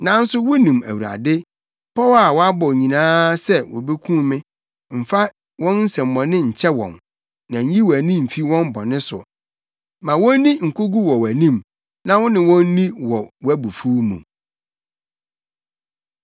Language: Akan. Nanso wunim Awurade, pɔw a wɔabɔ nyinaa se wobekum me. Mfa wɔn nsɛmmɔne nkyɛ wɔn, na nyi wʼani mfi wɔn bɔne so. Ma wonni nkogu wɔ wʼanim; na wo ne wɔn nni wɔ wʼabufuw mu.